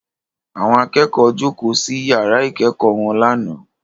Àwọn akẹ́kọ̀ọ́ jókòó sí yàrá ìkẹ́kọ̀ọ́ wọn lánàá